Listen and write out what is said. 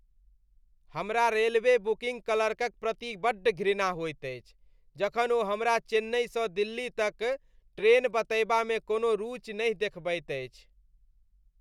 हमरा railway booking क्लर्कक प्रति बड्ड घृणा होइत अछि जखन ओ हमरा चेन्नईसँ दिल्ली तक ट्रेन बतयबा मे कोनो रुचि नहि देखबैत अछि।